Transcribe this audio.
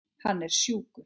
Hann er sjúkur.